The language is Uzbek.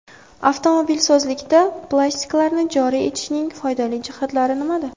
Avtomobilsozlikda plastiklarni joriy etishning foydali jihatlari nimada?